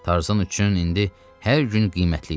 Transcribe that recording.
Tarzan üçün indi hər gün qiymətli idi.